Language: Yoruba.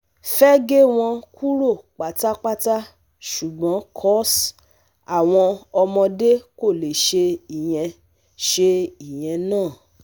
Fẹ́ gé wọn kúrò pátápátá ṣùgbọ́n coz àwọn ọmọdé kò lè ṣe ìyẹn ṣe ìyẹn náà